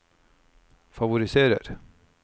favoriserer